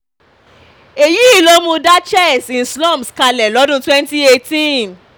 èyí ló mú dá chess in slums kalẹ̀ lọ́dún twenty eighteen